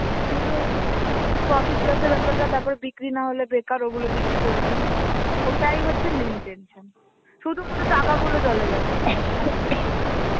কিন্তু ওই profit loss এর ব্যাপারটা তারপরে বিক্রি না হলে বেকার ওগুলো দিয়ে কি করবি? ওটাই হচ্ছে main tension. শুধু মুধু টাকাগুলো জলে যাবে, আর কিছু না.